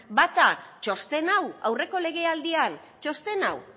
bata txosten hau aurreko legealdian txosten hau